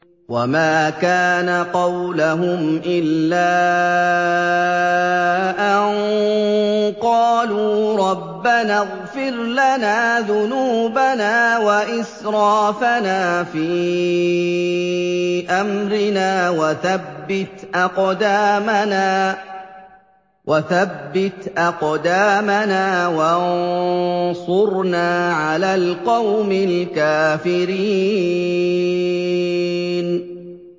وَمَا كَانَ قَوْلَهُمْ إِلَّا أَن قَالُوا رَبَّنَا اغْفِرْ لَنَا ذُنُوبَنَا وَإِسْرَافَنَا فِي أَمْرِنَا وَثَبِّتْ أَقْدَامَنَا وَانصُرْنَا عَلَى الْقَوْمِ الْكَافِرِينَ